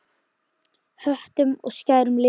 Höttum og skærum litum.